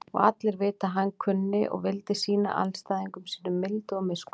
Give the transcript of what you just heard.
Og allir vita að hann kunni og vildi sýna andstæðingum sínum mildi og miskunn.